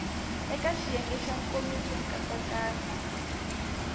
eka xiyenge xa nkomiso nkatsakanyo